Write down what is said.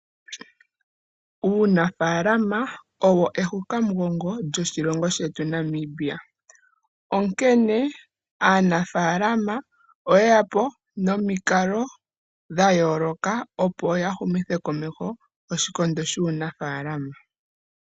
Uunafaalama owo ehukamugongo lyoshilongo shetu Namibia. Onkene aanafaalamo oye ya po nomikalo dhayooloka opo ya humithe komeho oshikondo shuunafaalama.